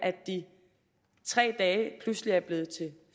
de tre dage pludselig er blevet til